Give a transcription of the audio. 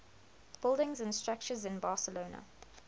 buildings and structures in barcelona